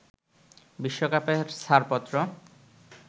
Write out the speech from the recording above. বিশ্বকাপের ছাড়পত্র